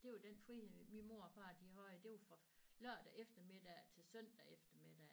Det var den frihed min mor og far de havde det var fra lørdag eftermiddag til søndag eftermiddag